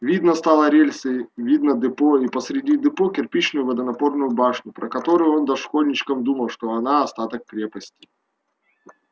видно стало рельсы видно депо и посреди депо кирпичную водонапорную башню про которую он дошкольничком думал что она остаток крепости